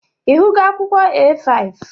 Ị hụgo akwụkwọ A5?